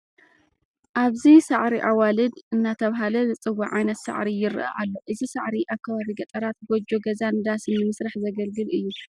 ኣብዚ ሳዕሪ ኣዋልድ እናተባህለ ዝፅዕ ዓይነት ሳዕሪ ይርአ ኣሎ፡፡ እዚ ሳዕሪ ኣብ ከባቢ ገጠራት ጐጆ ገዛን ዳሳን ንምስራሕ ዘገልግል እዩ፡፡